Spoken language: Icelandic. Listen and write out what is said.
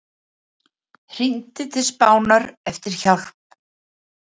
Hringdi til Spánar eftir hjálp